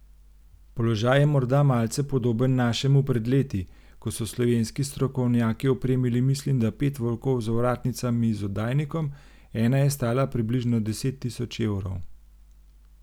Položaj je morda malce podoben našemu pred leti, ko so slovenski strokovnjaki opremili mislim da pet volkov z ovratnicami z oddajnikom, ena je stala približno deset tisoč evrov.